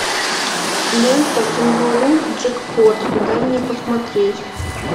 лента кенгуру джекпот дай мне посмотреть